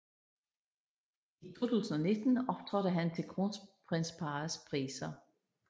I 2019 optrådte han til Kronprinsparrets Priser